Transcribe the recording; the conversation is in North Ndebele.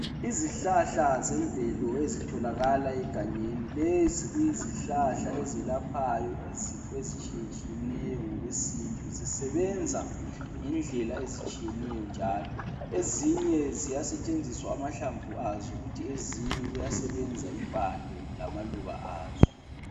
Izihlahla zemvelo ezitholakala egangeni lezi kuyizihlahla ezelaphayo izifo ezitshiye tshiyeneyo ngokwesintu zisebenza ngendlela ezitshiyeneyo njalo ezinye ziyasetshenziswa amahlamvu azo kuthi ezinye kuyasebenza impande lamaluba azo